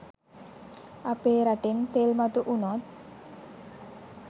අපේ රටෙන් තෙල් මතු වුනොත්